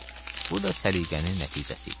Bu da səliqənin nəticəsi idi.